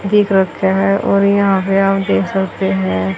दिख रखे है और यहां पे आप देख सकते है--